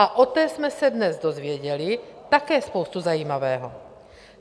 A o té jsme se dnes dozvěděli také spoustu zajímavého.